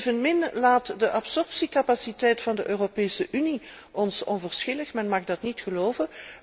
Evenmin laat de absorptiecapaciteit van de Europese Unie ons onverschillig, men mag dat niet geloven.